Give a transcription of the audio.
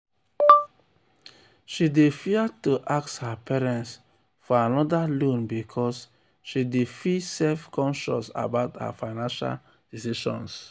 she dey fia to ask her parents for anoda loan because she dey feel self-conscious about her financial decisions.